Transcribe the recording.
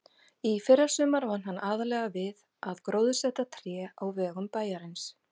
Í fyrrasumar vann hann aðallega við að gróðursetja tré á vegum bæjarins.